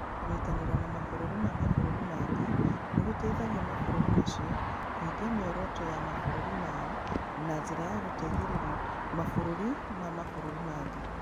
Kũnyitanĩra na mabũrũri ma mabũrũri mangĩ nĩ gũteithagia mabũrũri macio kũhingia mĩoroto ya mabũrũri mao na njĩra ya gũteithĩrĩria mabũrũri ma mabũrũri mangĩ.